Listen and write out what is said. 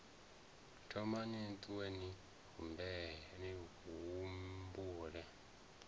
thomani ni ṱuwe ni humbule